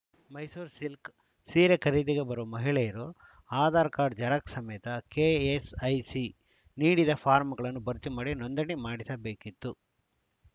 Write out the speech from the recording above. Mysuru silk ಸೀರೆ ಖರೀದಿಗೆ ಬರುವ ಮಹಿಳೆಯರು ಆಧಾರ್‌ ಕಾಡ್‌ರ್‍ ಜೆರಾಕ್ಸ್‌ ಸಮೇತ ಕೆಎಸ್‌ಐಸಿ ನೀಡಿದ ಫಾರಂಗಳನ್ನು ಭರ್ತಿ ಮಾಡಿ ನೋಂದಣಿ ಮಾಡಿಸಬೇಕಿತ್ತು